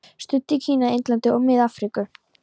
Studd í Kína, Indlandi og Mið-Afríku.